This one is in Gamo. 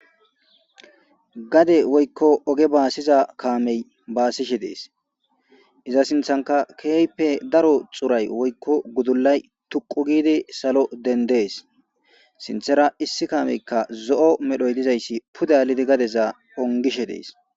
gade woykko oge baasiza kaamey baasishe dees iza sinthanka keeype daro xuray woykko gudullay tuqu gidi salo dendees sinthera issi kaameykka zo7o medhoy dizayssi pudalidi gadezaa ongishe dees